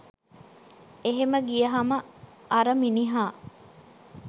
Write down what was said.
එහෙම ගියහම අර මිනිහා